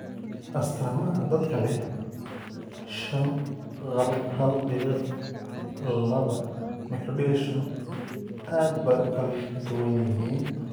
Astaamaha dadka leh hal shan q hal hal dibic labaa microdeletion aad bay u kala duwan yihiin.